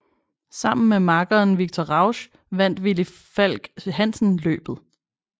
Sammen med makkeren Viktor Rausch vandt Villy Falck Hansen løbet